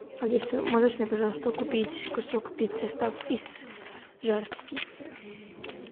алиса можешь мне пожалуйста купить кусок пиццы стаф из жар птицы